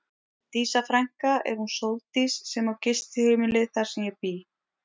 Dísa frænka er hún Sóldís sem á gistiheimilið þar sem ég bý.